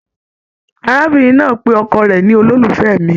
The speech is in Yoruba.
Arábìnrin náà pé ọkọ rẹ ní "ololufẹ mí''